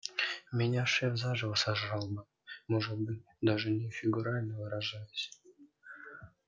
меня шеф заживо сожрал бы может быть даже не фигурально выражаясь